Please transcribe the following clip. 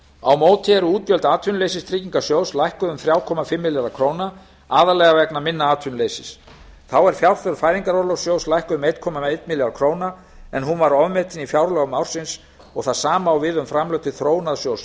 á móti eru útgjöld atvinnuleysistryggingasjóðs lækkuð um þrjú komma fimm milljarða króna aðallega vegna minna atvinnuleysis þá er fjárþörf fæðingarorlofssjóðs lækkuð um einn komma einn milljarð króna en hún var ofmetin í fjárlögum ársins og það sama á við um framlög til þróunarsjóðs